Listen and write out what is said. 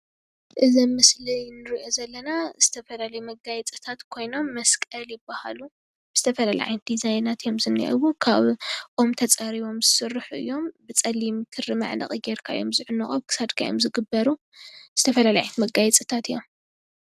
እዚ አብ ምስሊ እነሪኦ ዘለና ዝተፈላለዩ መጋየፂታት ኮይኖም መስቀል ይበሃሉ ።ዝተፈላለዩ ዓይነት ዲዛይናት እዩም ዝኒህው ።ካብ ኦም ተፀሪቦም ዝስሩሑ እዮም ።ብፀሊም ክሪ መዕነቒ ገሪካ እዮም ዝዕነቁ ። አብ ክሳድካ እዮም ዝግበሩ ።ዝተፈላለዩ ዓይነት መጋየፅታት እዮም፡፡